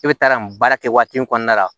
E bɛ taa nin baara kɛ waati in kɔnɔna la